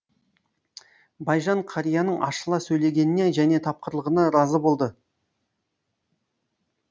байжан қарияның ашыла сөйлегеніне және тапқырлығына разы болды